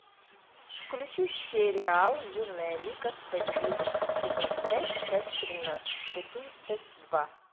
включи сериал юная лига справедливости сезон пять часть тридцать два